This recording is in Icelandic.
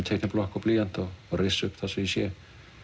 og blýant og rissa upp það sem ég sé